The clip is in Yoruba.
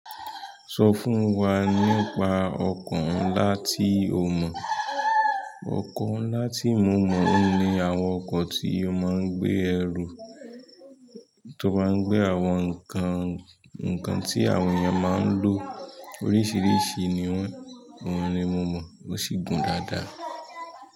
Sọ fún wa nípa ọkọ̀ ńlá tí o mọ̀. Ọkọ ńlá tí mo mọ̀ ni àwọn ọkọ̀ tí a máa ń gbé ẹrù, tó bá ń gbé àwọn nǹkan, nǹkan tí àwọn èèyàn máa ń lò. Oríṣìíríṣìí ni wọ́n, oun ni mo mọ̀ ó sì gùn dáadáa.